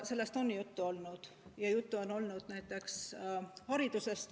Sellest on juttu olnud, ja juttu on olnud näiteks haridusest.